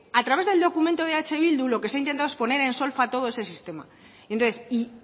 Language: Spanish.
a través del documento de eh bildu lo que se ha intentado poner en solfa todo ese sistema entonces y